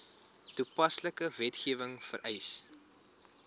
toepaslike wetgewing vereis